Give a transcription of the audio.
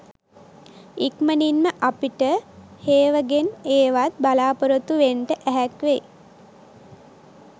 ඉක්මනින්ම අපිට හේවගෙන් ඒවත් බලාපොරොත්තු වෙන්ට ඇහැක්වෙයි